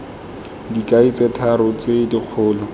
dikai tse tharo tse dikgolo